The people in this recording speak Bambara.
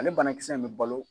Ale banakisɛ in bɛ balo